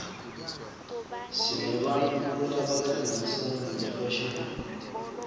sinebantfu labakhangisa ngefashini